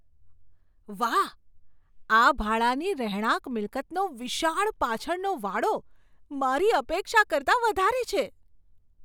વાહ, આ ભાડાની રહેણાંક મિલકતનો વિશાળ પાછળનો વાડો મારી અપેક્ષા કરતાં વધારે છે!